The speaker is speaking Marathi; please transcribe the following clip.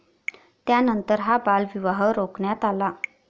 त्यानंतर हा बालविवाह रोखण्यात आला.